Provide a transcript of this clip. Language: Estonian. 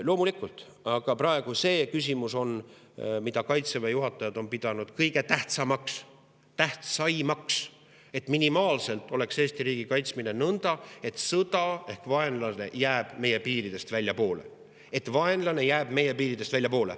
Loomulikult, aga praegu on küsimus selles, mida Kaitseväe juhatajad on pidanud kõige tähtsamaks, et minimaalselt oleks Eesti riigi kaitsmisel nõnda, et sõda ehk vaenlane jääks meie piiridest väljapoole.